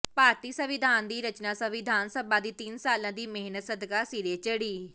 ਭਾਰਤੀ ਸੰਵਿਧਾਨ ਦੀ ਰਚਨਾ ਸੰਵਿਧਾਨ ਸਭਾ ਦੀ ਤਿੰਨ ਸਾਲਾਂ ਦੀ ਮਿਹਨਤਾ ਸਦਕਾ ਸਿਰੇ ਚੜ੍ਹੀ